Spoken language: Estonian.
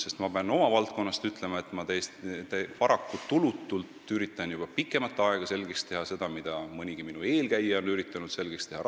Sest ma pean oma valdkonna kohta ütlema, et ma üritan – paraku tulutult – juba pikemat aega Rahandusministeeriumile selgeks teha seda, mida mõnigi minu eelkäija on püüdnud selgitada.